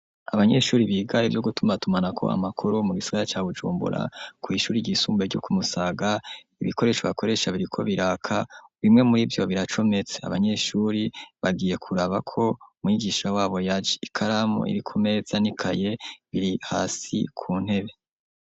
Abanyeshuri, biga ivyo gutumatumanako amakuru, mu gisigara ca Bujumbura, kw'ishure ryisumbuye, ryo ku Musaga, ibikoresho bakoresha, biriko biraka, bimwe muri vyo, biracometse, abanyeshuri, bagiye kuraba ko, mwigisha wabo, yaje; ikaramu iri ku meza, n'ikaye biri hasi, ku ntebe.